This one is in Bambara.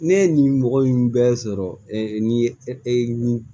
Ne ye nin mɔgɔ in bɛɛ sɔrɔ ni e